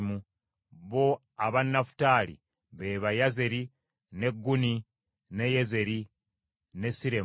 Bo aba Nafutaali be ba: Yazeeri, ne Guni, ne Yezeri, ne Siremu.